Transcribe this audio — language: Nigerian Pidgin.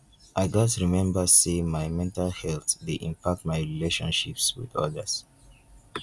i gats remember say my mental health dey impact my relationships with others.